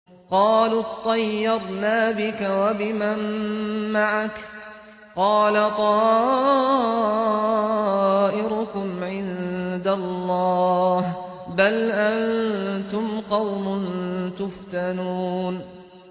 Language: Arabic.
قَالُوا اطَّيَّرْنَا بِكَ وَبِمَن مَّعَكَ ۚ قَالَ طَائِرُكُمْ عِندَ اللَّهِ ۖ بَلْ أَنتُمْ قَوْمٌ تُفْتَنُونَ